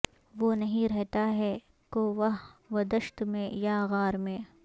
وہ نہیں رہتا ہے کوہ و دشت میں یا غار میں